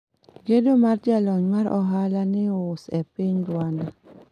Gedo mar jalony mar ohala mius e piny Rwanda